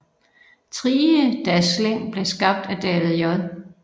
Trigedasleng blev skabt af David J